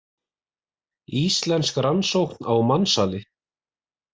Íslensk rannsókn á mansali